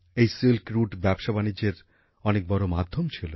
এই silk route ব্যবসা বাণিজ্যের অনেক বড় মাধ্যম ছিল